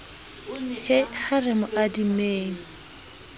he ha re mo adimeng